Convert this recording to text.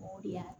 O de y'a